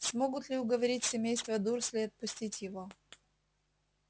смогут ли уговорить семейство дурслей отпустить его